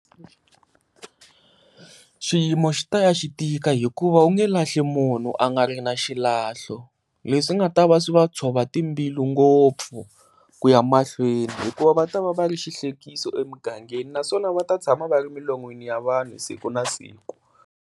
Xiyimo xi ta ya xi tika hikuva u nge lahli munhu a nga ri na xilahlo, leswi nga ta va swi va tshova timbilu ngopfu ku ya mahlweni hikuva va ta va va ri xihlekisa emugangeni naswona va ta tshama va ri milon'weni ya vanhu siku na siku.